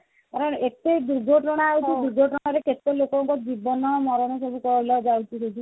ଏତେ ଯୁଗ ଗଣା ଯାଉଛି ଯୁଗ ଗଣାରେ କେତେ ଲୋକଙ୍କ ଜୀବନ ମରଣ ସବୁ କହିଲ ଯାଉଛି ଦେଖି